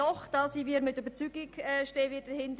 Diese unterstützen wir aus Überzeugung.